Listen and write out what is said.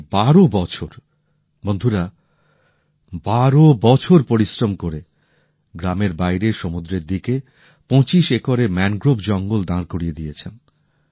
উনি ১২ বছর বন্ধুরা ১২ বছর পরিশ্রম করে গ্রামের বাইরে সমুদ্রের দিকে ২৫ একরের ম্যানগ্রোভ জঙ্গল দাঁড় করিয়ে দিয়েছেন